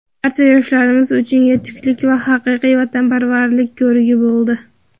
barcha yoshlarimiz uchun yetuklik va haqiqiy vatanparvarlik ko‘rigi bo‘ldi.